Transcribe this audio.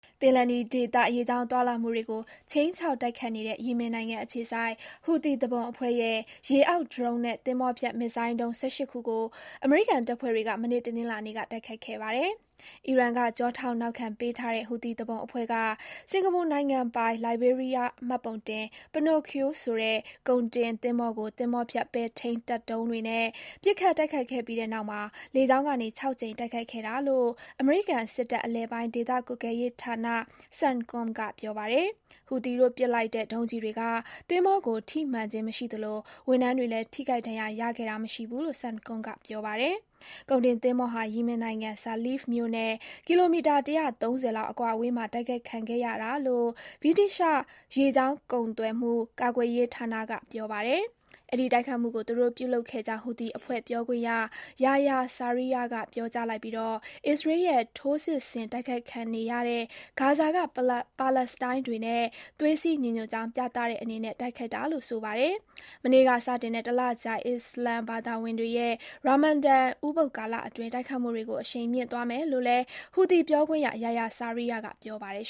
ပင်လယ်နီဒေသ ရေကြာင်းသွားလာမှုတွေကို ခြိမ်းခြောက် တိုက်ခိုက်နေတဲ့ ယီမင်နိုင်ငံအခြေစိုက် ဟူသီ သူပုန်အဖွဲ့ရဲ့ ရေအောက် ဒရုန်းနဲ့ သင်္ဘောဖျက် မစ်ဇိုင်းဒုံး ၁၈ ခုကို အမေရိကန်တပ်ဖွဲ့တွေက မနေ့ တနင်္လာနေ့က တိုက်ခိုက်ခဲ့ပါတယ်။ အီရန်က ကျောထောက်နောက်ခံပေးထားတဲ့ ဟူသီသူပုန်အဖွဲ့က စင်္ကာပူနိုင်ငံပိုင် လိုင်ဘေးရီးယားမှတ်ပုံတင် Pinocchio ဆိုတဲ့ ကုန်တင်သင်္ဘောကို သင်္ဘောဖျက် ပဲ့ထိန်းတပ်ဒုံးတွေနဲ့ ပစ်ခတ် တိုက်ခိုက်ခဲ့ပြီးတဲ့နောက်မှာ လေကြောင်းကနေ ၆ ကြိမ် တိုက်ခိုက်ခဲ့တာလို့ အမေရိကန်စစ်တပ် အလယ်ပိုင်းဒေသကွပ်ကဲရေးဌာန CENTCOM က ပြောပါတယ်။ ဟူသီတို့ပစ်လိုက်တဲ့ ဒုံးကျည်တွေက သင်္ဘောကို ထိမှန်ခြင်းမရှိသလို ဝန်ထမ်းတွေလည်း ထိခိုက် ဒဏ်ရာရခဲ့တာ မရှိဘူးလို့ CENTCOM က ပြောပါတယ်။ ကုန်တင်သင်္ဘောဟာ ယီမင်နိုင်ငံ၊ Saleef မြို့နဲ့ ကီလိုမီတာ ၁၃၀ လောက် အကွာအဝေးမှာ တိုက်ခိုက်ခံခဲ့ရတာလို့ ဗြိတိသျှ ရေကြာင်းကုန်မှု ကာကွယ်ရေးဌာနက ပြောပါတယ်။ အဲဒီ တိုက်ခိုက်မှုကို သူတို့ပြုလုပ်ခဲ့ကြောင်း ဟူသီအဖွဲ့ ပြောခွင့်ရ Yahya Sarea က ပြောကြားလိုက်ပြီး အစ္စရေးရဲ့ ထိုးစစ်ဆင် တိုက်ခိုက်ခြင်းခံနေရတဲ့ ဂါဇာက ပါလက်စတိုင်းတွေနဲ့ သွေးစည်း ညီညွတ်ကြောင်း ပြသတဲ့အနေနဲ့ တိုက်ခိုက်တာလို့ ဆိုပါတယ်။ မနေ့က စတင်တဲ့ တလကြာ အစ္စလာမ်ဘာသာဝင်တွေရဲ့ ရာမာဒါန် ဥပုဒ်ကာလအတွင်း တိုက်ခိုက်မှုတွေကို အရှိန်မြှင့်သွားမယ်လို့လည်း ဟူသီပြောခွင့်ရ Yahya Sarea က ပြောပါတယ်